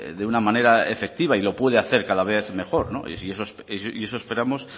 de una manera efectiva y lo puede hacer cada vez mejor y eso esperamos